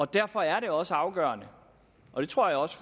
derfor er det også afgørende det tror jeg også